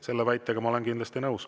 Selle väitega ma olen kindlasti nõus.